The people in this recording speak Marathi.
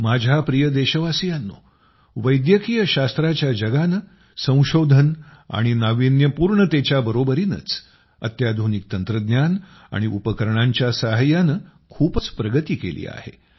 माझ्या प्रिय देशवासियांनो वैद्यकीय शास्त्राच्या जगानं संशोधन आणि नावीन्यपूर्णेतेच्या बरोबरीनंच अत्याधुनिक तंत्रज्ञान आणि उपकरणांच्या सहाय्यानं खूपच प्रगती केली आहे